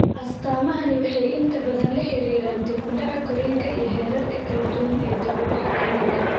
Astaamahani waxay inta badan la xiriiraan dib u dhaca korriinka iyo heerarka kala duwan ee dib u dhaca korriinka.